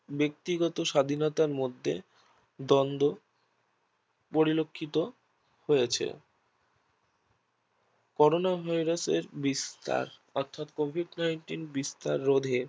ব্যক্তিগত স্বাধীনতার মধ্যে দ্বন্দ্ব পরিলক্ষিত হয়েছে করনা Virus এর বিস্তার অর্থাৎ Covid nineteen বিস্তার রোধে